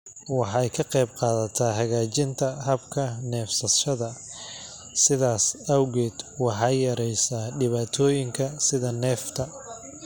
Waxay ka qaybqaadataa hagaajinta habka neefsashada, sidaas awgeed waxay yareysaa dhibaatooyinka sida neefta.